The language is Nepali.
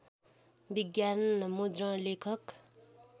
विज्ञापन मुद्रण लेखक